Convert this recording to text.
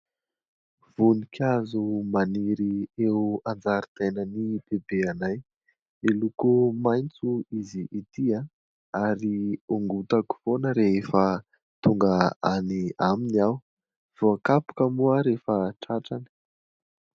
Voninkazo maniry eo an-jaridainan'i Bebeanay. Miloko maitso izy ity ary hongotako foana rehefa tonga any aminy aho. Voakapoka moa aho rehefa tratrany.